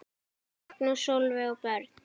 Magnús, Sólveig og börn.